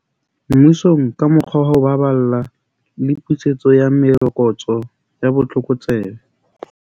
Mmusong ka mokgwa wa ho baballa le pusetso ya merokotso ya botlokotsebe.